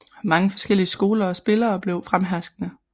Mange forskellige skoler og spillere blev fremherskende